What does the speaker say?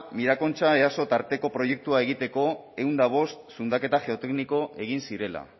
mirakontxa easo tarteko proiektua egiteko ehun eta bost zundaketa geotekniko egin zirela